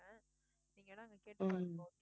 உம்